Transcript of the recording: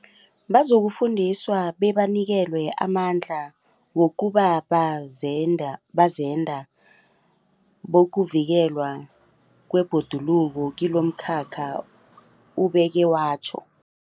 Bazokufundiswa bebanikelwe amandla wokuba bazenda bokuvikelwa kwebhoduluko kilomkhakha, ubeke watjho.